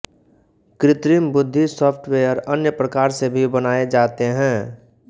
कृत्रिम बुद्धि सॉफ्तवेयर अन्य प्रकार से भी बनए जाते हैं